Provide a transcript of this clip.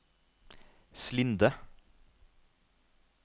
Slinde